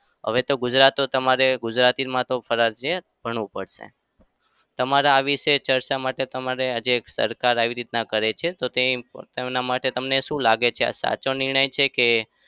હવે તો ગુજરાત તમારે ગુજરાતીમાં તો ફરજીયાત ભણવું પડશે. તમારે આ વિશે ચર્ચા માટે આ જે સરકાર આવી રીતે કરે છે તો તેના માટે તમને શું લાગે છે? આ સાચો નિર્ણય છે કે